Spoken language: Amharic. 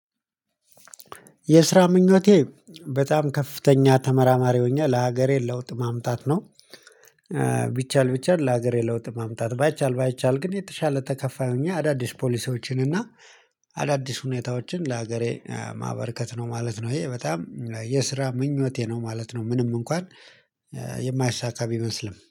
የስራ ምኞቴ በጣም ከፍተኛ ተመራማሪ ሆኜ ለሀገሬ ለውጥ ማምጣት ነው። ቢቻል ቢቻል ለሀገሬ ለውጥ ማምጣት ባይቻል ባይቻል ግን የተሻለ ተከፋይ ሆኜ አዳዲስ ፖሊሲዎችን እና አዳዲስ ሁኔታዎችን ለሀገሬ ማበርከት ነው ማለት ነው ይሄ በጣም የስራ ምኞቴ ነው ማለት ነው። ምንም እንኳን የማይሳካ ቢመስልም